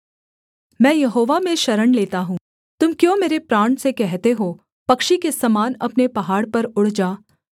मैं यहोवा में शरण लेता हूँ तुम क्यों मेरे प्राण से कहते हो पक्षी के समान अपने पहाड़ पर उड़ जा